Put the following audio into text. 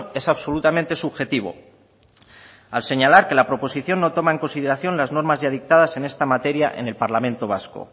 es absolutamente subjetivo al señalar que la proposición no toma en consideración las normas ya dictadas en esta materia en el parlamento vasco